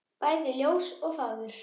bæði ljós og fagur.